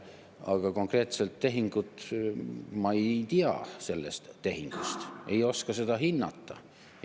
Aga konkreetsesse tehingusse, siis ma ei tea sellest tehingust, ei oska seda hinnata.